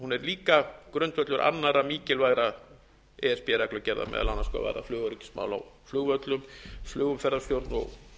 líka grundvöllur annarra mikilvægra e s b reglugerða meðal annars hvað varðar flugöryggismál á flugvöllum flugumferðarstjórn og